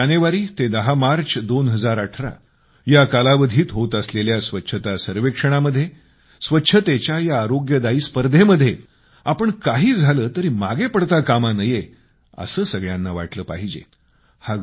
4 जानेवारी ते 10 मार्च 2018 या कालावधीत होत असलेल्या स्वच्छता सर्वेक्षणामध्ये स्वच्छतेच्या या आरोग्यदायी स्पर्धेमध्ये आपण मागे पडता कामा नये असं सगळ्यांना वाटलं पाहिजे